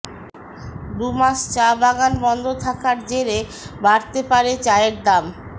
দুমাস চা বাগান বন্ধ থাকার জেরে বাড়তে পারে চায়ের দাম